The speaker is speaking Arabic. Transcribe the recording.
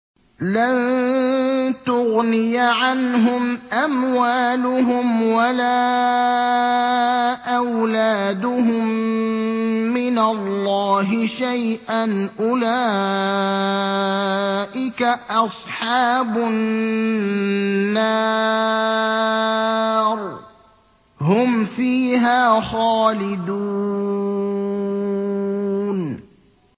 لَّن تُغْنِيَ عَنْهُمْ أَمْوَالُهُمْ وَلَا أَوْلَادُهُم مِّنَ اللَّهِ شَيْئًا ۚ أُولَٰئِكَ أَصْحَابُ النَّارِ ۖ هُمْ فِيهَا خَالِدُونَ